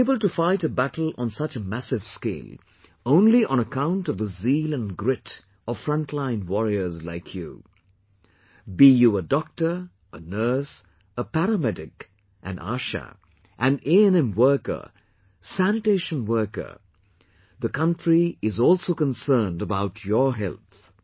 We are able to fight a battle on such a massive scale, only on account of the zeal and grit of frontline warriors like you...Be you a Doctor, a nurse, a para medic, Aasha, an ANM worker, sanitation worker, the country is also concerned about your health